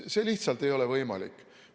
See lihtsalt ei ole võimalik.